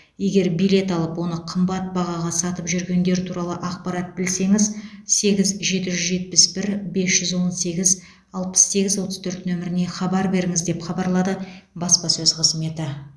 егер билет алып оны қымбат бағаға сатып жүргендер туралы ақпарат білсеңіз сегіз жеті жүз жетпіс бір бес жүз он сегіз алпыс сегіз отыз төрт нөміріне хабар беріңіз деп хабарлады баспасөз қызметі